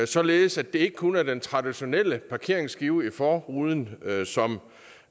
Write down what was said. således at det ikke kun er den traditionelle parkeringsskive i forruden som